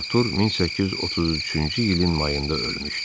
Artur 1833-cü ilin mayında ölmüşdü.